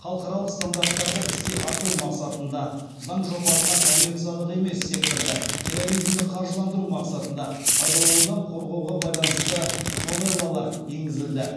халықаралық стандарттарды іске асыру мақсатында заң жобасына коммерциялық емес секторды терроризмді қаржыландыру мақсатында пайдаланудан қорғауға байланысты новеллалар енгізілді